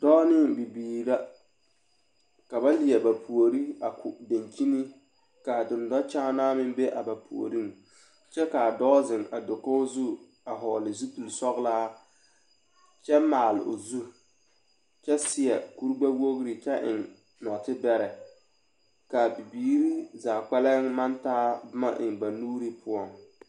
Dɔɔ ne Bibiiri la ka ba leɛ ba puori a ko daŋkyini ka a dennɔ kyaanaa meŋ be ba puoriŋ kyɛ ka a dɔɔ zeŋ a dakogi zu a hɔɔle zupilsɔglaa kyɛ maale o zu kyɛ seɛ kuri gbɛwogri kyɛ eŋ nɔɔte bɛrɛ ka a bibiiri zaa kpɛlɛm taa boma eŋ ba buuri poɔŋ.